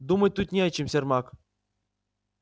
думать тут не о чем сермак